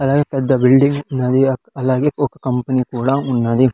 అలాగే పెద్ద బిల్డింగ్ ఉన్నది అలాగే ఒక కంపెనీ కూడా ఉన్నది.